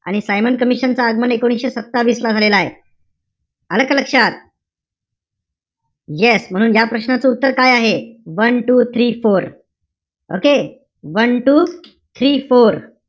आणि Simon commission च आगमन, एकोणीशे सत्तावीस ला झालेलय. आलं का लक्षात? yes. म्हणून या प्रश्नाचं उत्तर काय आहे? onet, wo, three, four okay? one, two, three, four.